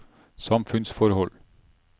samfunnsforhold